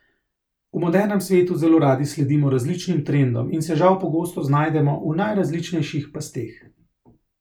V modernem svetu zelo radi sledimo različnim trendom in se žal pogosto znajdemo v najrazličnejših pasteh.